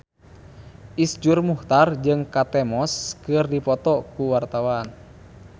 Iszur Muchtar jeung Kate Moss keur dipoto ku wartawan